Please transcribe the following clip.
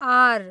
are